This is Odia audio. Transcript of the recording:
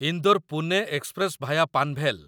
Indore Pune express via Panvel